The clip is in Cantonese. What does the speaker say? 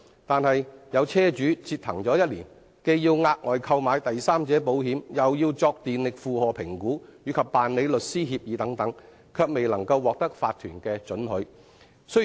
但是，有車主為此折騰1年，既要額外購買第三者保險，又要作電力負荷評估，以及辦理律師協議等，最終卻未能獲得法團的准許。